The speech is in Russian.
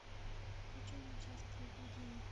включи мне часть три гудини